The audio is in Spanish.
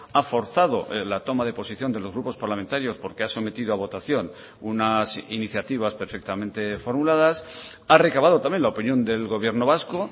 ha forzado la toma de posición de los grupos parlamentarios porque ha sometido a votación unas iniciativas perfectamente formuladas ha recabado también la opinión del gobierno vasco